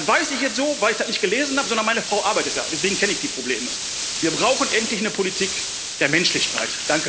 Das weiß ich jetzt so, nicht, weil ich das gelesen habe, sondern meine Frau arbeitet da, deswegen kenne ich die Probleme. Wir brauchen endlich eine Politik der Menschlichkeit.